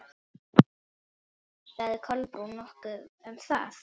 Sagði Kolbrún nokkuð um það?